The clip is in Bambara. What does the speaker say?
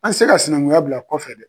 An tɛ ka sinankunya bila kɔfɛ dɛ.